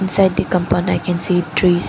inside the compound i can see trees.